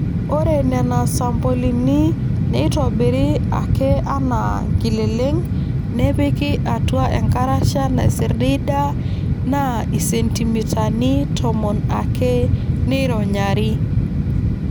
Ore Nena sampolini neitobiri ake anaa nkileleng nepiki atua enkarasha naisirdiida naa isentimitani tomon ake neironyari.